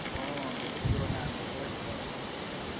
অ বহুত পুৰণা আঠবছৰে হব আৰু